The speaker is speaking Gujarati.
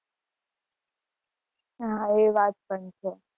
હા એ વાત પણ છે